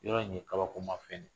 Yɔrɔ in ye kabako ma fɛn